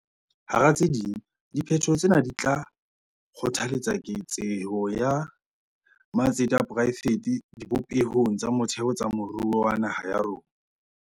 Hara tse ding, diphetoho tsena di tla kgothaletsa keketseho ya matsete a poraefete dibopehong tsa motheo tsa moruo wa naha ya rona.